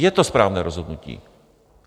Je to správné rozhodnutí.